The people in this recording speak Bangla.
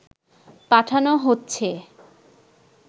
পাঠানো হচ্ছে